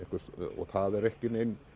og það er ekki